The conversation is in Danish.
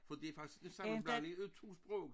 For det faktisk en sammenblandning af 2 sprog